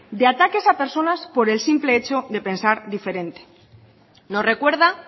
de ataques a personas por el simple hecho de pensar diferente nos recuerda